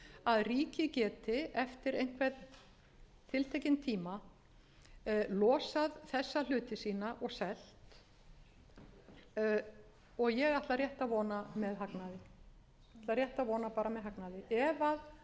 að ríkið geti eftir einhvern tiltekinn tíma losað þessa hluti sína og selt og ég ætla rétt að vona með hagnaði ef